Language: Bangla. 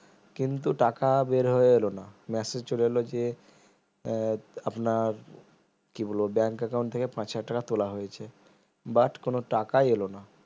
কিন্তু টাকা বের হয়ে এলো না massage চলে এলো যে আহ আপনার কি বলবো bank account থেকে পাঁচ হাজার টাকা তোলা হয়েছে but কোন টাকাই এলো না